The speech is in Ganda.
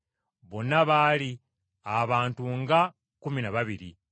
Bonna baali abantu nga kkumi na babiri.